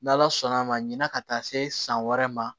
N' ala sɔnna a ma ɲina ka taa se san wɛrɛ ma